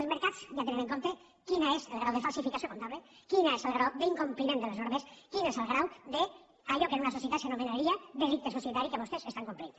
els mercats ja tenen en compte quin és el grau de falsificació comptable quin és el grau d’incompliment de les normes quin és el grau d’allò que en una societat s’anomenaria delicte societari que vostès estan complint